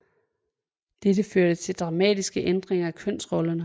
Dette førte til dramatiske ændringer af kønsrollerne